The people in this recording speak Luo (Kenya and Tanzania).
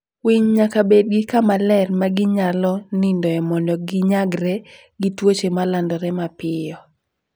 Winy nyaka bed gi kama ler ma ginyalo nindoe mondo ginyagre gi tuoche ma landore mapiyo.